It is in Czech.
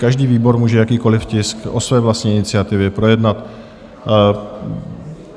Každý výbor může jakýkoliv tisk o své vlastní iniciativě projednat.